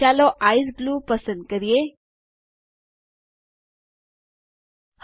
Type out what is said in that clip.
ચાલો ice blue પસંદ કરો પર ક્લિક કરીને